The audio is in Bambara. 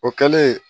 O kɛlen